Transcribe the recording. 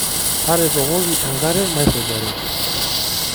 Taretokoki enkare maisujare.